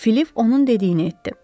Filip onun dediyini etdi.